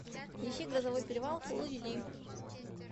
ищи грозовой перевал фул эйч ди